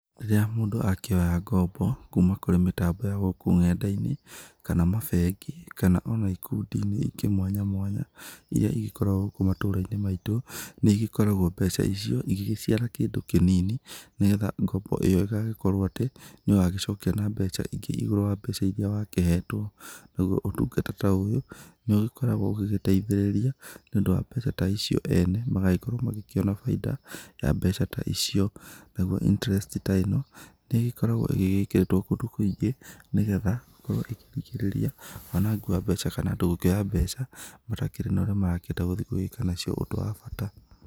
Rĩrĩa mũndũ akĩoya ngombo kuma kũrĩ mĩtambo ya gũkũ nenda-inĩ, kana mabengi, kana o na ikundi-inĩ ingĩ mwanya mwanya, iria igĩkoragwo gũkũ matũra-inĩ maitũ, nĩ igĩkoragwo mbeca icio igĩgĩciara kĩndũ kĩnini nĩgetha ngombo ĩyo ĩgagĩkorwo atĩ nĩ ũgagĩcokia na mbeca ingĩ igũrũ wa iria wakĩhetwo, naguo ũtungata ta ũyũ nĩ ũgĩkoragwo ũgĩgĩteithĩrĩria nĩ ũndũ wa mbeca ta icio ene magagĩkorwo magĩkĩona baida ya mbeca ta icio, naguo interest ta ĩno nĩ ĩgĩkoragwo ĩgĩgĩkĩrĩtwo kũndũ kũingĩ, nĩgetha ĩkorwo ĩkĩrigĩrĩria wanangi wa mbeca kana andũ gũkĩoya mbeca matakĩrĩ na ũrĩa marakĩenda gũthiĩ gũgĩka nacio ũndũ wa bata.